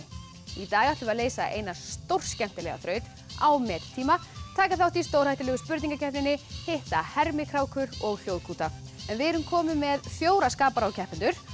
í dag ætlum við að leysa eina stórskemmtilega þraut á met tíma taka þátt í stórhættulegu spurningakeppninni hitta hermikrákur og hljóðkúta við erum komin með fjóra skapara og keppendur